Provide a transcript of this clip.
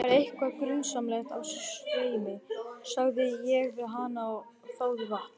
Það er eitthvað grunsamlegt á sveimi, sagði ég við hana og þáði vatn.